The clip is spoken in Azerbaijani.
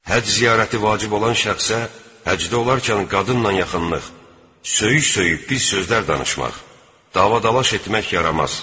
Həcc ziyarəti vacib olan şəxsə həcdə olarkən qadınla yaxınlaşmaq, söyüş-söyüş pis sözlər danışmaq, dava-dalaş etmək yaramaz.